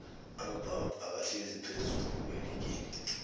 amabhakabhaka ahlezi phezullu eligini